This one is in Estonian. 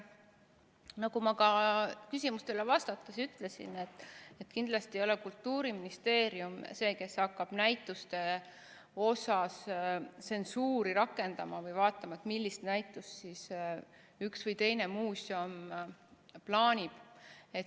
Nagu ma ka küsimustele vastates ütlesin, kindlasti ei ole Kultuuriministeerium see, kes hakkab näituste puhul tsensuuri rakendama või vaatama, millist näitust üks või teine muuseum plaanib.